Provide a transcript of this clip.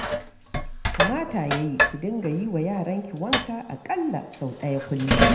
Kamata ya yi ki dinga yi wa yaranki wanka a ƙalla sau ɗaya kullum.